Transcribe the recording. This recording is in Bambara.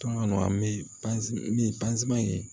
Tɔn kɔnɔ an bɛ ye